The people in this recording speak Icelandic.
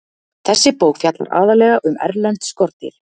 Þessi bók fjallar aðallega um erlend skordýr.